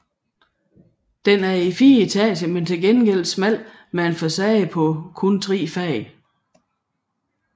Den er i fire etager men til gengæld smal med en facade på kun tre fag